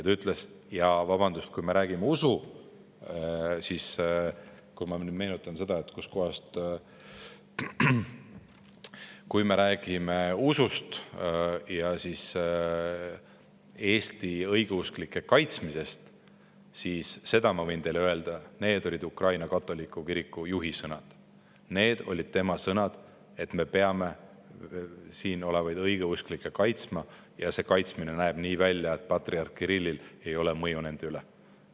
Ta ütles, et kui me räägime usust ja Eesti õigeusklike kaitsmisest, siis seda ta võib öelda – need olid Ukraina katoliku kiriku juhi sõnad –, et me peame siin olevaid õigeusklikke kaitsma ja see kaitsmine nägema välja nii, et patriarh Kirillil ei ole mõju nende üle.